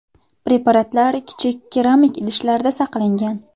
Preparatlar kichik keramik idishlarda saqlangan.